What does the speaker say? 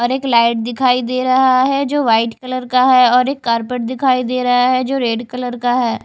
और एक लाइट दिखाई दे रहा है जो व्हाइट कलर का है और एक कारपेट दिखाई दे रहा है जो रेड कलर का है।